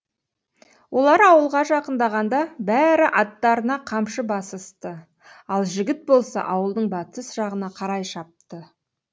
олар ауылға жақындағанда бәрі аттарына қамшы басысты ал жігіт болса ауылдың батыс жағына қарай шапты